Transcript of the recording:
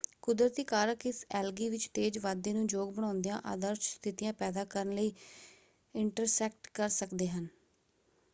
ਕੁਦਰਤੀ ਕਾਰਕ ਇਸ ਐਲਗੀ ਵਿੱਚ ਤੇਜ਼ ਵਾਧੇ ਨੂੰ ਯੋਗ ਬਣਾਉਂਦਿਆਂ ਆਦਰਸ਼ ਸਥਿਤੀਆਂ ਪੈਦਾ ਕਰਨ ਲਈ ਇੰਟਰਸੈਕਟ ਕਰ ਸਕਦੇ ਹਨ।